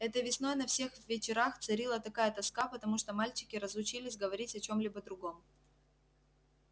этой весной на всех вечерах царила такая тоска потому что мальчики разучились говорить о чём-либо другом